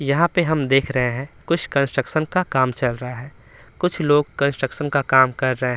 यहाँ पर हम देख रहे हैं कुछ कंस्ट्रक्शन का काम चल रहा है कुछ लोग कंस्ट्रक्शन का काम कर रहे हैं।